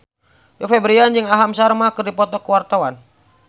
Rio Febrian jeung Aham Sharma keur dipoto ku wartawan